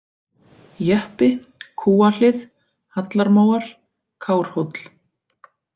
Jeppi, Kúahlið, Hallarmóar, Kárhóll